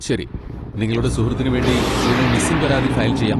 ശരി, നിങ്ങളുടെ സുഹൃത്തിന് വേണ്ടി ഞങ്ങൾ മിസ്സിംഗ് പരാതി ഫയൽ ചെയ്യാം.